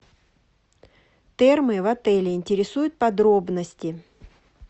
термы в отеле интересуют подробности